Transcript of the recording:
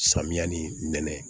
Samiya ni nɛnɛ